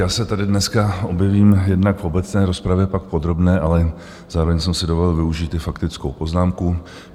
Já se tady dneska objevím jednak v obecné rozpravě, pak v podrobné, ale zároveň jsem si dovolil využít i faktickou poznámku.